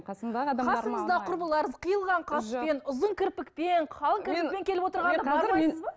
қасыңыздағы құрбыларыңыз қиылған қаспен ұзын кірпікпен қалың кірпікпен келіп отырғанда